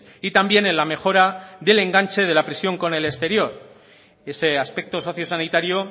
y también en la mejora del enganche de la prisión con el exterior ese aspecto sociosanitario